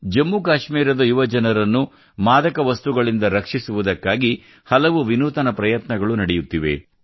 ಜಮ್ಮುಕಾಶ್ಮೀರದ ಯುವಜನರನ್ನು ಮಾದಕ ವಸ್ತುಗಳಿಂದ ರಕ್ಷಿಸುವುದಕ್ಕಾಗಿ ಹಲವು ವಿನೂತನ ಪ್ರಯತ್ನಗಳು ನಡೆಯುತ್ತಿವೆ